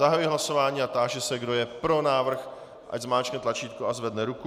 Zahajuji hlasování a táži se, kdo je pro návrh, ať zmáčkne tlačítko a zvedne ruku.